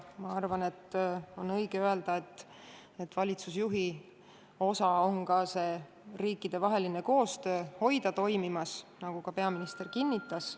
Ma arvan, et on õige öelda, et valitsusjuhi ülesanne on hoida see riikidevaheline koostöö toimimas, nagu ka peaminister kinnitas.